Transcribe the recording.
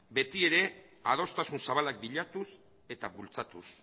betiere adostasun zabalak bilatuz eta bultzatuz